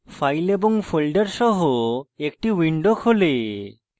files এবং folders সহ একটি window খোলে